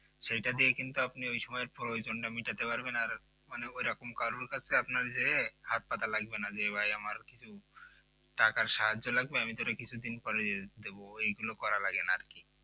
সেটা দিয়ে আপনি ওই সময় প্রয়োজন মেটাতে পারবেন মনে করে আপনি কারো কাছে আপনি কে হাত পাতা লাগবেনা যে ভাই আমার কিছু টাকার সাহায্য লাগবে আমি তোরে কিছুদিন পর দেবো এইগুলো করা লাগে না আর কি